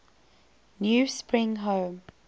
new spring home